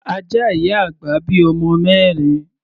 Ajá ìyá àgbà bí ọmọ mẹ́rin.